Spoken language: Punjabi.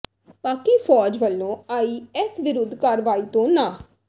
ਪਾਕਿ ਫੌਜ ਵੱਲੋਂ ਆਈ ਐੱਸ ਵਿਰੁੱਧ ਕਾਰਵਾਈ ਤੋਂ ਨਾਂਹ